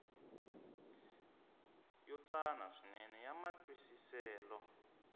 yo tsana swinene ya matwisiselo